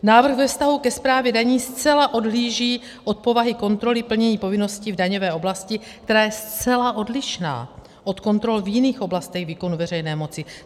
Návrh ve vztahu ke správě daní zcela odhlíží od povahy kontroly plnění povinností v daňové oblasti, která je zcela odlišná od kontrol v jiných oblastech výkonu veřejné moci.